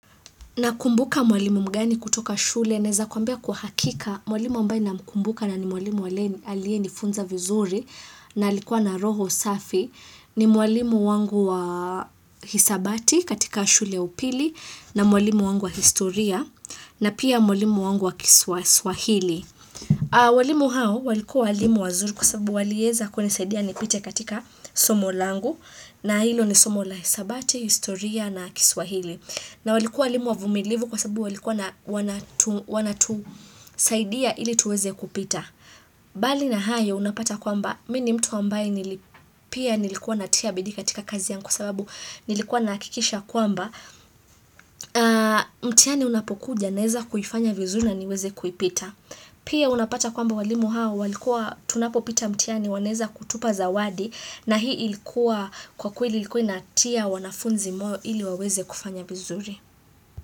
Nakumbuka mwalimu mgani kutoka shule na za kuambia hakika mwalimu ambaye na mkumbuka na ni mwalimu aliye nifunza vizuri na alikuwa na roho safi. Ni mwalimu wangu wa hisabati katika shule upili na mwalimu wangu wa historia na pia mwalimu wangu wa kiswa swahili. Walimu hao walikuwa walimu wazuri kwa sababu walieza kuni saidia ni pite katika somo langu na hilo ni somo la hisabati, historia na kiswahili. Na walikua walimu wavumilivu kwa sababu walikua wanatusaidia ili tuweze kupita. Bali na hayo unapata kwamba, miminni mtu ambaye nili pia nilikuwa natia bidii katika kazi yangu kwa sababu nilikuwa nahakikisha kwamba, mtihani unapokuja naeza kuifanya vizuri na niweze kuipita. Pia unapata kwamba walimu hao, walikua tunapopita mtihani, waneza kutupa zawadi, na hii ilikuwa kwa kweli ilikuwa inatia wanafunzi moyo ili waweze kufanya vizuri.